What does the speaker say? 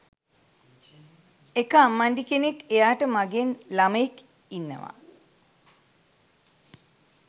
එක අම්මණ්ඩි කෙනෙක් එයාට මගෙන් ළමයෙක් ඉන්නවා